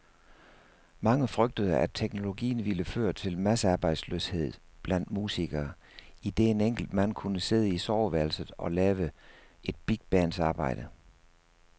Mange frygtede, at teknologien ville føre til massearbejdsløshed blandt musikere, idet en enkelt mand kunne sidde i soveværelset og lave et bigbands arbejde.